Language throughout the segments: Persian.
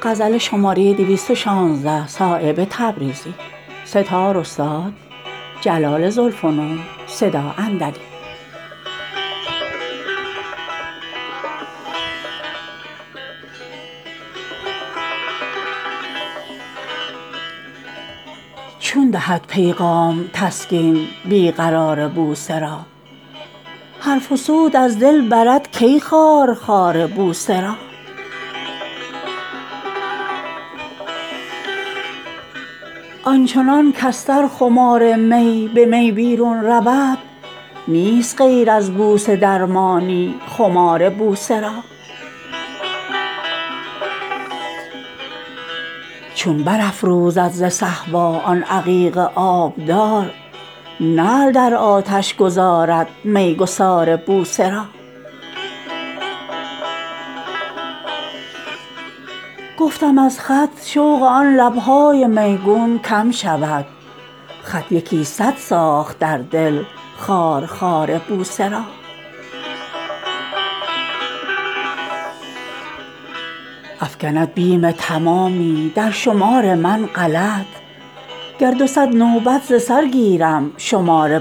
چون دهد پیغام تسکین بی قرار بوسه را حرف وصوت از دل برد کی خارخار بوسه را آنچنان کز سر خمار می به می بیرون رود نیست غیر از بوسه درمانی خمار بوسه را چون برافروزد ز صهبا آن عقیق آبدار نعل در آتش گذارد میگسار بوسه را گفتم از خط شوق آن لبهای میگون کم شود خط یکی صد ساخت در دل خارخار بوسه را افکند بیم تمامی در شمار من غلط گر دو صد نوبت ز سر گیرم شمار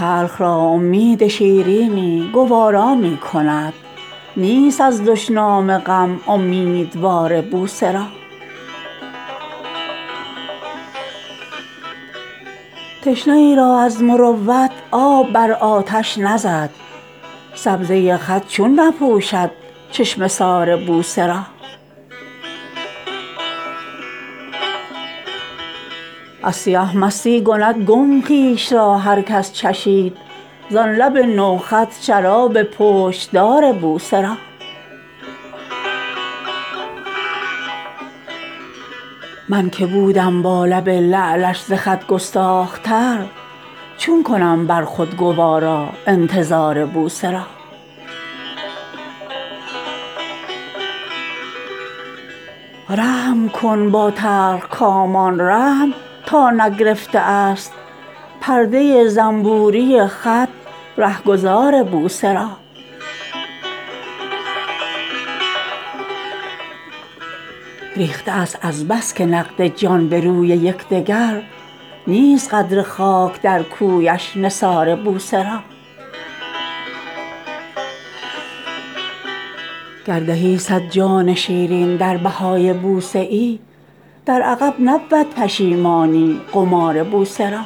بوسه را تلخ را امید شیرینی گوارا می کند نیست از دشنام غم امیدوار بوسه را تشنه ای را از مروت آب بر آتش نزد سبزه خط چون نپوشد چشمه سار بوسه را از سیه مستی کند گم خویش را هر کس چشید زان لب نوخط شراب پشت دار بوسه را من که بودم با لب لعلش ز خط گستاخ تر چون کنم بر خود گوارا انتظار بوسه را رحم کن با تلخکامان رحم تا نگرفته است پرده زنبوری خط رهگذار بوسه را ریخته است از بس که نقد جان به روی یکدگر نیست قدر خاک در کویش نثار بوسه را گر دهی صد جان شیرین در بهای بوسه ای در عقب نبود پشیمانی قمار بوسه را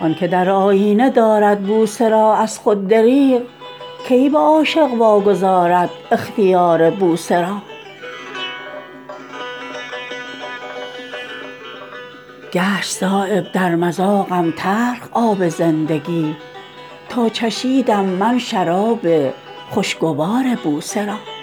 آن که در آیینه دارد بوسه را از خود دریغ کی به عاشق واگذارد اختیار بوسه را گشت صایب در مذاقم تلخ آب زندگی تا چشیدم من شراب خوشگوار بوسه را